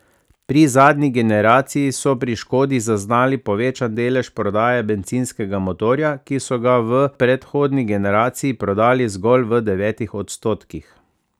Pri zadnji generaciji so pri Škodi zaznali povečan delež prodaje bencinskega motorja, ki so ga v v predhodni generaciji prodali zgolj v devetih odstotkih.